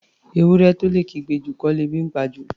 Ewúrẹ́ tó lè kígbe jù, kọ́ lebi ńpa jù.